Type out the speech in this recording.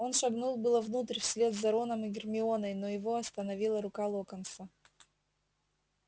он шагнул было внутрь вслед за роном и гермионой но его остановила рука локонса